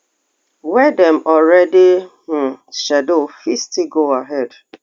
wey dem already um schedule fit still go ahead